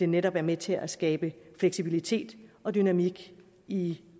netop er med til at skabe fleksibilitet og dynamik i